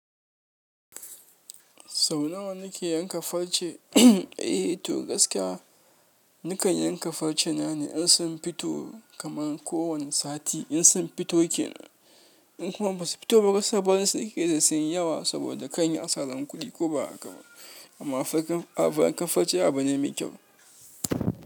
Sau nawa kike yanka farce? Eh to gaskiya nakan yanka farce na ne in sun fito kaman kowane sati in sun fito ke nan in kuma ba su fito ba gaskiya barinsu nakeyi saboda kai in yi asaran kuɗi ko ba haka ba amma farcen yankan farce abu ne mai kyau.